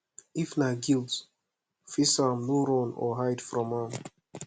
if na guilt face am no run or hide from am